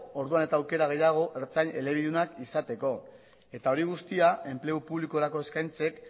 orduan eta aukera gehiago ertzain elebidunak izateko eta hori guztia enplegu publikorako eskaintzek